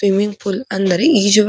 Swimming pool ಅಂದರೆ ಈಜುವ ಕೊಳ.